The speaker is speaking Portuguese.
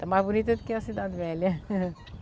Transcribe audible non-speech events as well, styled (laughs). Está mais bonita do que a cidade velha. (laughs)